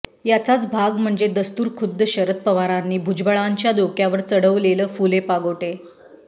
याचाच भाग म्हणजे दस्तुरखुद्द शरद पवारांनी भुजबळांच्या डोक्यावर चढवलेल फुले पागोटे